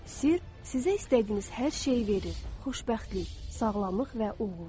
Sir sizə istədiyiniz hər şeyi verir: xoşbəxtlik, sağlamlıq və uğur.